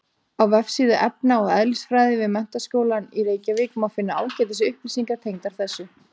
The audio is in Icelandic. Á vefsíðu efna- og eðlisfræði við Menntaskólann í Reykjavík má finna ágætis upplýsingar tengdar þessu.